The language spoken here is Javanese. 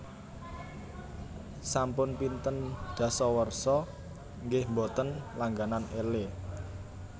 Sampun pinten dasawarsa nggeh mboten langganan Elle